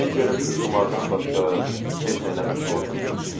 Deyin görüm siz qumardan başqa heç nəylə məşğul olmursuz, hə?